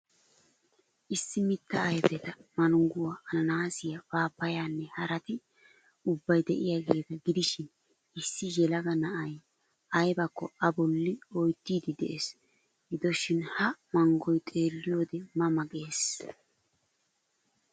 Issi mittaa ayfetta mangguwa, ananaasiya, paappayaanne harati ubbay de'iyaageeta gidishiin issi yelaga na'ay aybakko A bolli oyttiid dees. Gidoshin ha manggoy xeelliyode ma ma gees.